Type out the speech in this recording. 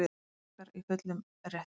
Frakkar í fullum rétti